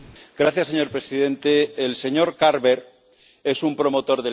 Señor presidente, el señor Carver es un promotor del